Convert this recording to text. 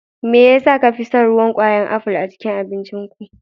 Me yasa ka fi son ruwan kwayar aful a cikin abincinku.